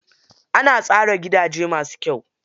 Ana tsara gidaje masu kyau.